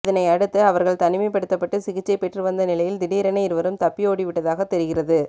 இதனை அடுத்து அவர்கள் தனிமைப்படுத்தப்பட்டு சிகிச்சை பெற்று வந்த நிலையில் திடீரென இருவரும் தப்பி ஓடிவிட்டதாக தெரிகிறது